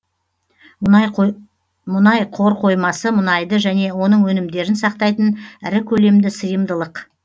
мұнай қорқоймасы мұнайды және оның өнімдерін сақтайтын ірі көлемді сыйымдылық